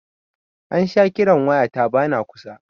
An sha kiran waya ta ba na kusa